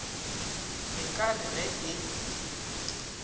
e ka re ge e